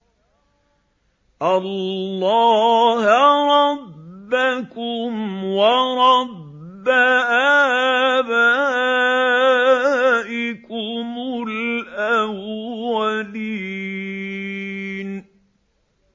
اللَّهَ رَبَّكُمْ وَرَبَّ آبَائِكُمُ الْأَوَّلِينَ